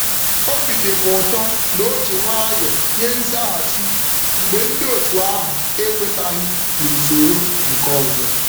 Obi dị m ụtọ na o ji nwayọ nye nzaghachi mgbe ndị otu ahụ ekwetaghị n'usoro nke ọzọ.